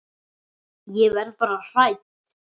Ég verð bara hrædd.